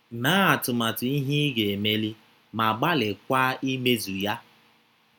Mee atụmatụ ihe ị ga - emeli, ma gbalịakwa imezu ya